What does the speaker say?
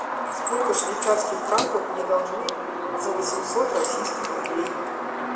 сколько швейцарских франков мне должны за восемьсот российских рублей